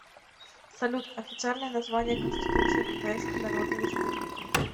салют официальное название конституция китайской народной республики